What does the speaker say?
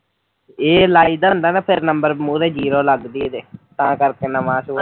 ਇਹ ਲਾਈਦਾ ਹੁੰਦਾ ਨਾ ਐ ਫਿਰ ਨੰਬਰ ਮੂਹਰੇ ਜੀਰੋ ਲੱਗਦੀ ਏ ਜੇ ਤਾੰ ਕਰਕੇ ਨਵਾਂ।